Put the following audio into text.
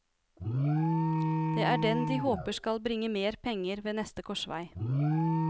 Det er den de håper skal bringe mer penger ved neste korsvei.